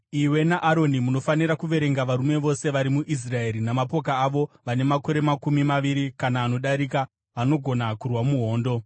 Iwe naAroni munofanira kuverenga varume vose vari muIsraeri namapoka avo vane makore makumi maviri kana anodarika vanogona kurwa muhondo.